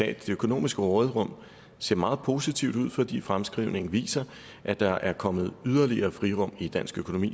at det økonomiske råderum ser meget positivt ud fordi fremskrivningen viser at der er kommet yderligere frirum i dansk økonomi